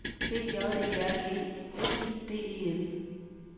B J E R G S I D E N